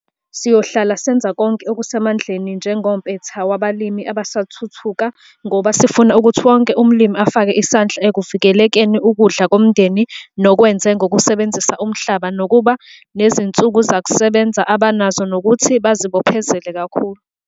SIYOHLALA senza konke okusemandleni njengompetha wabalimi abasathuthuka ngoba sifuna ukuthi wonke umlimi afake isandla ekuvikeleni ukudla komndeni nokwezwe ngokusebenzisa umhlaba nokuba nezinsizakusebenza abanazo nokuthi bazibophezele kakhulu!